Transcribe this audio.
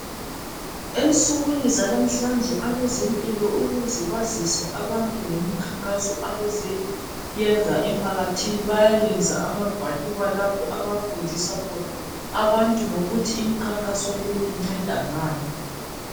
Ensukwini zalamuhlanje abezempilo ukuze bazise abantu ngemikhankaso abazoyenza emphakathini bayayenza amagwaliba lapho abafundisa khona abantu ngokuthi imikhankaso le inceda ngani